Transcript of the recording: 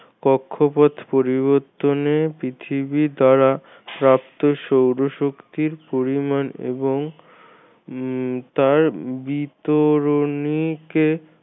কক্ষপথ পরিবর্তনে পৃথিবী দ্বারা প্রাপ্ত সৌর শক্তির পরিমাণ এবং উম তার বিতরণিকে